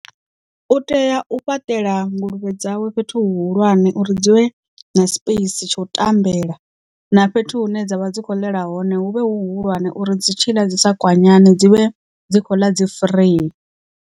U tea u fhaṱela nguluvhe dzawe fhethu hu hulwane uri dzivhe na space tsha u tambela na fhethu hune dzavha dzi kho ḽela hone hu vhe hu hulwane uri dzi tshiḽa dzi sa kwanyane dzi vhe dzi kho ḽa dzi free.